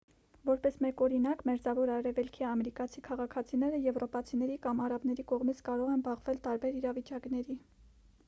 որպես մեկ օրինակ մերձավոր արևելքի ամերիկացի քաղաքացիները եվրոպացիների կամ արաբների կողմից կարող են բախվել տարբեր իրավիճակների